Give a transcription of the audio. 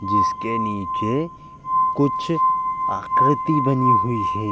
जिसके नीचे कुछ आकृति बनी हुई है।